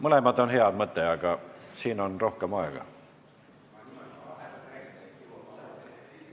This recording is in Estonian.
Mõlemad on hea mõte, aga siin on rohkem aega.